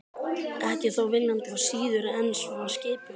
Ekki þó viljandi og síður en svo skipulega.